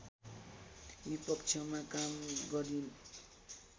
विपक्षमा काम गरिन्